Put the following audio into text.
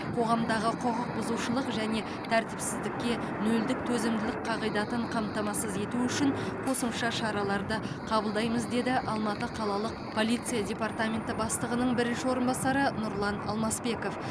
қоғамдағы құқық бұзушылық және тәртіпсіздікке нөлдік төзімділік қағидатын қамтамасыз ету үшін қосымша шараларды қабылдаймыз деді алматы қалалық полиция департаменті бастығының бірінші орынбасары нұрлан алмасбеков